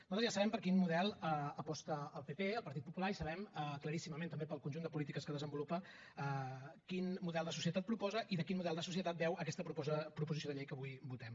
nosaltres ja sabem per quin model aposta el pp el partit popular i sabem claríssimament també pel conjunt de polítiques que desenvolupa quin model de societat proposa i de quin model de societat beu aquesta proposició de llei que avui votem